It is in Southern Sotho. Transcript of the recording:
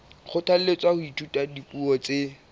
kgothalletswa ho ithuta dipuo tse